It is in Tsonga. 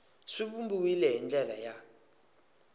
swi vumbiwile hi ndlela ya